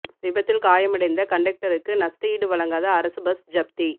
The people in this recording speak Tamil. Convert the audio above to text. விபத்தில் காயமடைந்த கண்டக்டருக்கு நஷ்ட ஈடு வழங்காத அரசு பஸ் ஜப்தி